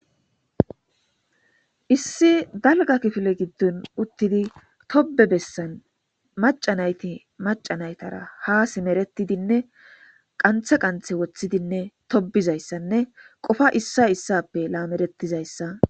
Issi dalga kifile giddon uttidi tobe bessan macanayti macanaytara ha simeretidinne qanthe qanthe woththidinne tobizayssanne qofa issa issappe laamerettizayssa.